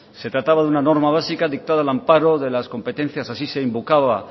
se trataba de una norma básica dictada al amparo de las competencias así se invocaba